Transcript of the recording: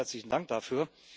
Ganz herzlichen Dank dafür.